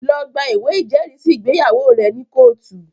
Lọ gba ìwé ìjẹ́rìísí ìgbéyàwó rẹ ní kóòtù!